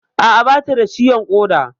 A'a, bata da ciwon ƙoda